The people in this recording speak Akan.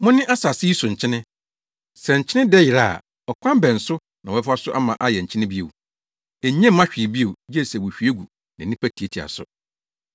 “Mone asase yi so nkyene. Sɛ nkyene dɛ yera a, ɔkwan bɛn so na wɔbɛfa ama ayɛ nkyene bio? Enye mma hwee bio, gye sɛ wohwie gu na nnipa tiatia so.